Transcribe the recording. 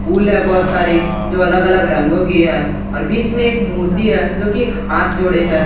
फूल है बहुत सारी जो अलग अलग रंगों की है और बीच में एक मूर्ति है जो की एक हाथ जोड़े है।